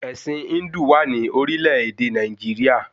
Ẹ̀sìn Híndù wà ní orílẹ̀-èdè Nàìjíríà